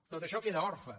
tot això queda orfe